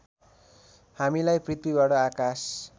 हामीलाई पृथ्वीबाट आकाश